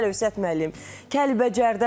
Bizim Əlövsət müəllim Kəlbəcərdədir.